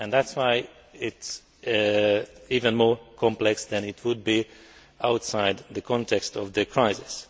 That is why it is even more complex than it would be outside the context of the crisis.